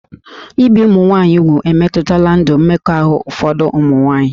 Ibi ụmụ nwaanyị úgwù emetụtala ndụ mmekọahụ ụfọdụ ụmụ nwaanyị